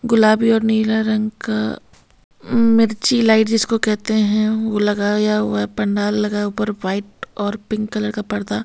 गुलाबी और नीला रंग का मिर्ची लाइट जिसको कहते हैं वह लगाया हुआ है पंडाल लगा है ऊपर व्हाइट और पिंक कलर का पर्दा --